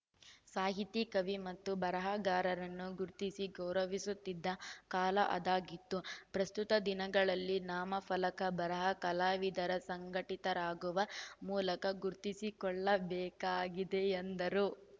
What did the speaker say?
ಸಾಹಿತಿ ಕವಿ ಮತ್ತು ಬರಹಗಾರರನ್ನು ಗುರ್ತಿಸಿ ಗೌರವಿಸುತ್ತಿದ್ದ ಕಾಲ ಆದಾಗಿತ್ತು ಪ್ರಸ್ತುತ ದಿನಗಳಲ್ಲಿ ನಾಮ ಫಲಕ ಬರಹ ಕಲಾವಿದರು ಸಂಘಟಿತರಾಗುವ ಮೂಲಕ ಗುರ್ತಿಸಿಕೊಳ್ಳ ಬೇಕಾಗಿದೆ ಎಂದರು